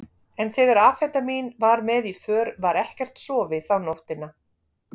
En þegar amfetamín var með í för var ekkert sofið þá nóttina.